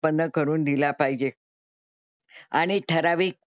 उत्पन्न करून दिला पाहिजे. आणि ठरावीक,